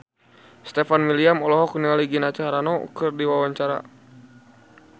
Stefan William olohok ningali Gina Carano keur diwawancara